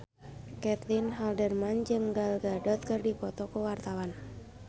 Caitlin Halderman jeung Gal Gadot keur dipoto ku wartawan